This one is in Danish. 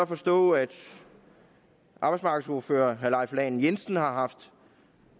forstå at arbejdsmarkedsordfører herre leif lahn jensen har haft